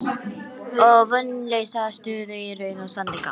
Og vonlausa stöðu í raun og sannleika.